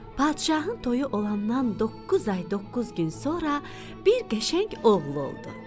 Padşahın toyu olandan doqquz ay doqquz gün sonra bir qəşəng oğlu oldu.